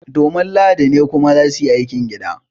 Domin lahadi ne kuma za su yi aikin gida